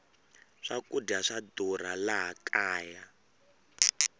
swakudya swa durha laha kaya